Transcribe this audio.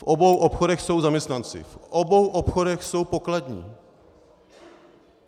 V obou obchodech jsou zaměstnanci, v obou obchodech jsou pokladní.